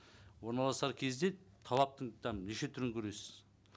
орналасар кезде талаптың там неше түрін көресіз